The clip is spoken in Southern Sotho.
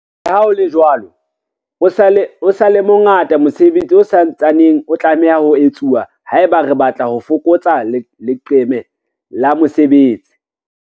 Leha ho le jwalo, o sa le mo ngata mosebetsi o sa ntsaneng o tlameha ho etsuwa haeba re batla ho fokotsa leqeme la mesebetsi.